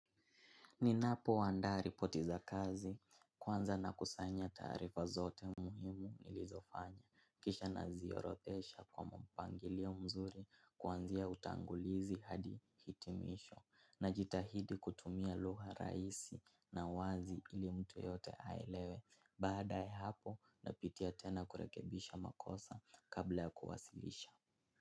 Ninapoandaa ripoti za kazi, kwanza nakusanya taarifa zote muhimu nilizofanya. Kisha naziorodhesha kwa mpangilio mzuri kuanzia utangulizi hadi hitimisho. Najitahidi kutumia lugha raisi na wazi ili mtu yeyote aelewe. Baada ya hapo napitia tena kurekebisha makosa kabla ya kuwasilisha.